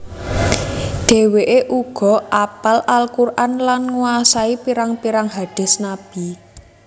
Dheweke uga apal Al Quran lan nguwasai pirang pirang hadis Nabi